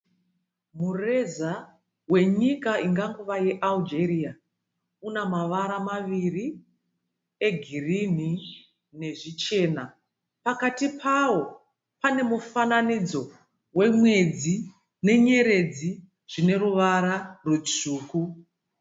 Mureza wenyika ingangova yeAigeria. Una mavara maviri egirinhi nezvichena. Pakati pawo pane mufananidzo wemwedzi nenyeredzi zvineruvara rwutsvuku.